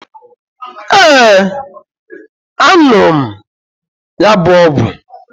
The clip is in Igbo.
Ee, a nuru m ya bu ogwu